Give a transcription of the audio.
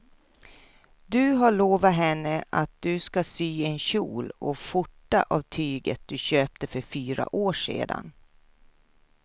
Du har lovat henne att du ska sy en kjol och skjorta av tyget du köpte för fyra år sedan.